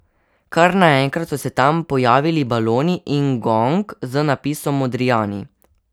Kar naenkrat so se tam pojavili baloni in gong z napisom Modrijani.